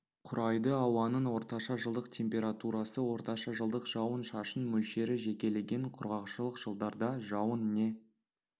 құрайды ауаның орташа жылдық температурасы орташа жылдық жауын-шашын мөлшері жекелеген құрғақшылық жылдарда жауын не